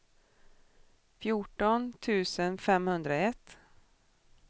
fjorton tusen femhundraett